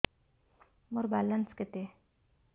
ମୋର ବାଲାନ୍ସ କେତେ